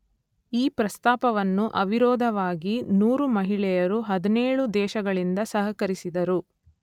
ಈ ಪ್ರಸ್ಥಾಪವನ್ನು ಅವಿರೋಧವಾಗಿ ನೂರು ಮಹಿಳೆಯರು ಹದಿನೇಳು ದೇಶಗಳಿಂದ ಸಹಕರಿಸಿದರು